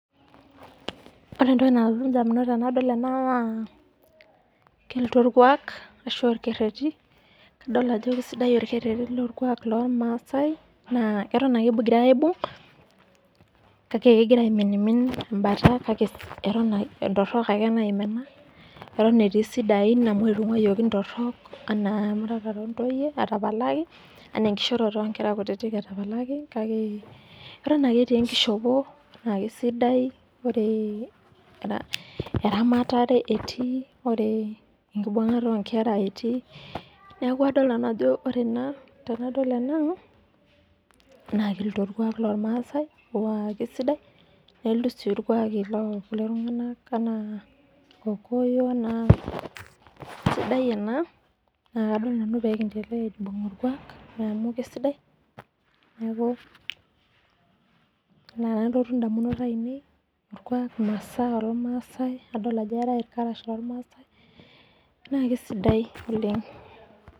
Ore entoki nalotu ndamunot anadol ena na irkuak ashu orkereri adol ajo kesidai orkereri lormaasai na atan ake egirai aibung kake eton etii sidain amu anaa emurata ontoyie etapalaki anaa enkishoroto ontoyie etapalaki kake aton ake etii enkishopo na kesidai ore eramatare erii ore enkibungata onkera etii neaku tanadol ena na ninye orkuak lormaasai nakesidai nelotu orkuak lo rkokoyo neaku kesidai enikimbung irkuaki neaku ina nalotu ndamunot ainei na kesidai oleng.